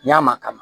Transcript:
N'a ma kama kaban